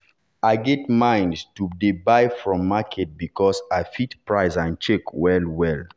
i get mind to dey buy from market because i fit price and check well-well.